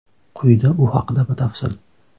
Quyida u haqida batafsil.